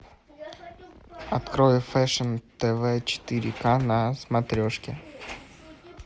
открой фэшн тв четыре ка на смотрешке